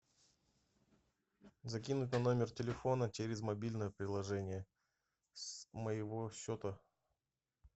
закинуть на номер телефона через мобильное приложение с моего счета